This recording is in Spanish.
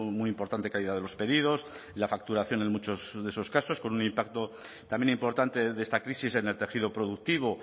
muy importante caída de los pedidos y la facturación en muchos de esos casos con un impacto también importante de esta crisis en el tejido productivo